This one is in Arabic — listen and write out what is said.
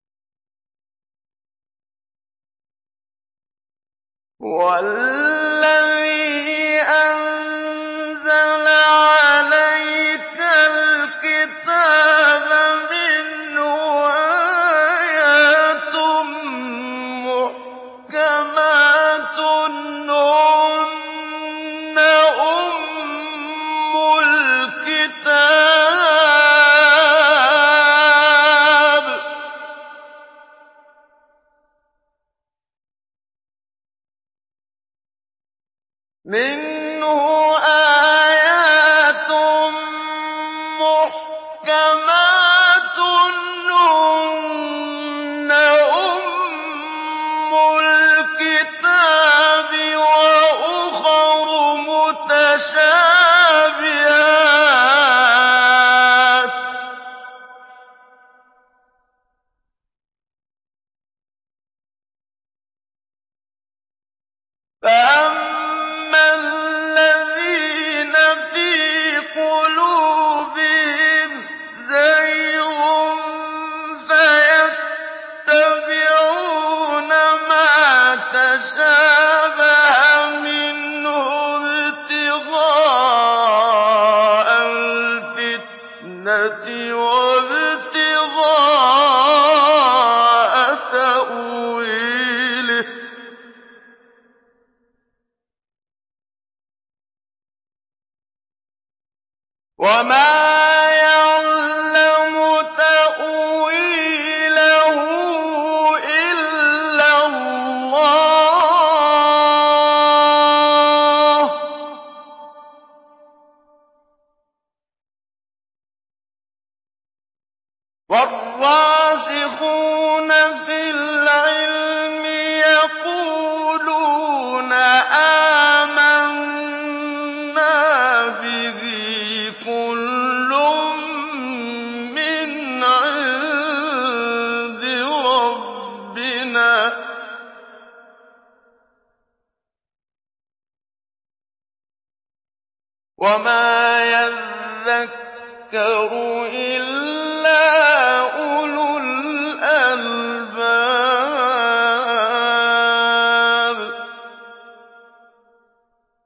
هُوَ الَّذِي أَنزَلَ عَلَيْكَ الْكِتَابَ مِنْهُ آيَاتٌ مُّحْكَمَاتٌ هُنَّ أُمُّ الْكِتَابِ وَأُخَرُ مُتَشَابِهَاتٌ ۖ فَأَمَّا الَّذِينَ فِي قُلُوبِهِمْ زَيْغٌ فَيَتَّبِعُونَ مَا تَشَابَهَ مِنْهُ ابْتِغَاءَ الْفِتْنَةِ وَابْتِغَاءَ تَأْوِيلِهِ ۗ وَمَا يَعْلَمُ تَأْوِيلَهُ إِلَّا اللَّهُ ۗ وَالرَّاسِخُونَ فِي الْعِلْمِ يَقُولُونَ آمَنَّا بِهِ كُلٌّ مِّنْ عِندِ رَبِّنَا ۗ وَمَا يَذَّكَّرُ إِلَّا أُولُو الْأَلْبَابِ